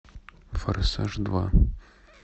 форсаж два